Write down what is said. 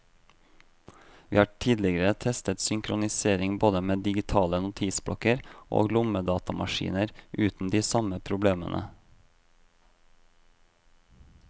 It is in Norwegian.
Vi har tidligere testet synkronisering både med digitale notisblokker og lommedatamaskiner uten de samme problemene.